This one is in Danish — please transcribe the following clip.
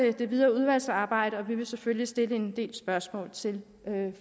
det videre udvalgsarbejde og vi vil selvfølgelig stille en del spørgsmål til